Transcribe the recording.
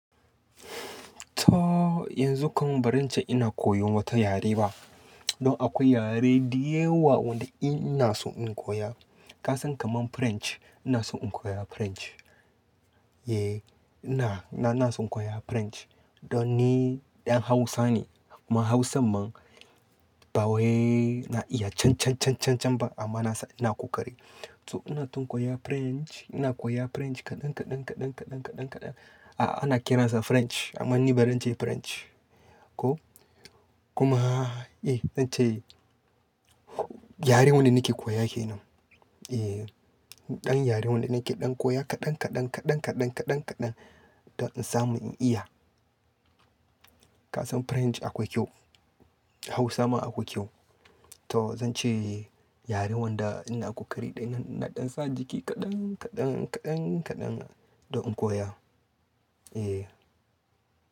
To, yanzu kam ba zan ce ina koyon wata yare ba. Don akwai yare diyawa wanda in ina so in koya. Kasan kaman French, ina son in koya French. Eh ina, ina so in koya French. Don ni ɗan Hausa ne, kuma Hausan man, ba wai na iya cancan-cancan-can ba amma na san-- ina ƙoƙari. To ina ton koyan French, ina koya French kaɗan kaɗan kaɗan kaɗan kaɗan kaɗan. A'a ana kiransa French amma ni ba ran ce French. Ko? Kuma eh zan ce yare wanda nake koya ke nan. Eh, ɗan yare wanda nake ɗan koya kaɗan kaɗan kaɗan kaɗan kaɗan kaɗan, don in samu in iya. Kasan French akwai kyau, Hausa ma akwai kyau. To zan ce yare wanda ina kokari ɗaina ina ɗan sa jiki kaɗan kaɗan kaɗan kaɗan don in koya. Eh,